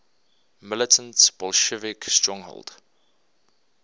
militant bolshevik stronghold